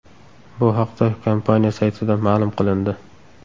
Bu haqda kompaniya saytida ma’lum qilindi .